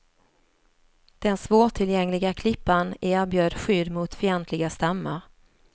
Den svårtillgängliga klippan erbjöd skydd mot fientliga stammar.